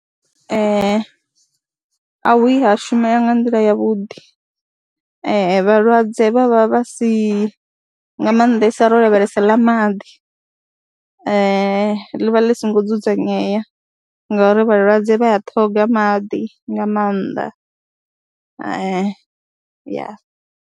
Ee a hu vhuyi ha shumea nga nḓila yavhuḓi, vhalwadze vha vha vha si, nga maanḓesa ro lavhelesa ḽa maḓi, ḽi vha ḽi songo dzudzanyea ngauri vhalwadze vha a ṱhoga maḓi nga maanḓa ya.